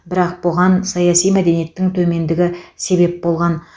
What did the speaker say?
бірақ бұған саяси мәдениеттің төмендігі себеп болған